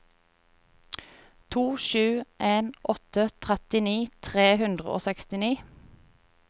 to sju en åtte trettini tre hundre og sekstini